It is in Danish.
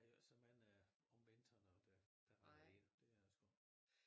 Der er jo såmænd øh om vinteren og det det